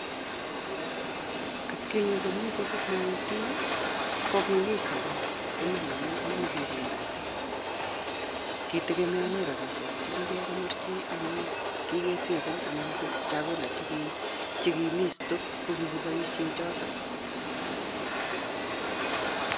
Akinye komii covid-19 kokiui sobet iman amun kimokebendote ketegemonen rabishe chekikekonor chii en chekikesaven anan ko chakula chekimii stoke keboishen joton.